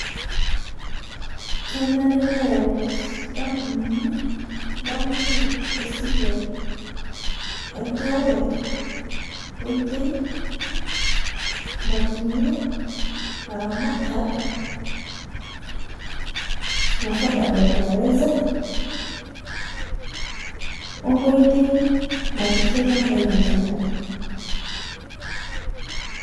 Kenare neyau nkampunini, enkampuni esile enturore nkoitei, natumie, laramatak affordable fertilizer ,onkoitei napikie ilchampai lenye nkare.